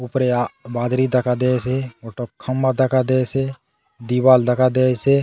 ऊपरे आ बादली दखा दयेसे गोटक खम्बा दखा दयेसे दीवार दखा दयेसे।